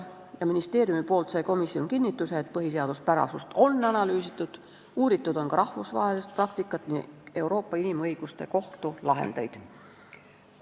Komisjon sai ministeeriumilt kinnituse, et põhiseaduspärasust on analüüsitud ja on uuritud ka rahvusvahelist praktikat, Euroopa Inimõiguste Kohtu lahendeid.